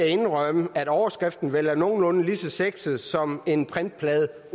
indrømme at overskriften vel er nogenlunde lige så sexet som en printplade